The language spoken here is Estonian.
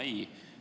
Ei!